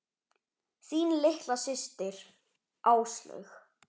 Þín litla systir, Áslaug.